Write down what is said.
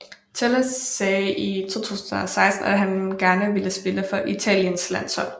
Telles sagde i 2016 at han gerne ville spille for Italiens landshold